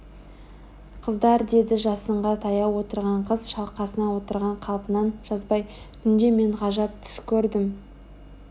Қыздар деді жасынға таяу отырған қыз шалқасынан отырған қалпынан жазбай түнде мен ғажап түс көрдім